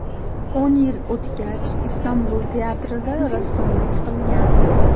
O‘n yil o‘tgach, Istanbul teatrida rassomlik qilgan.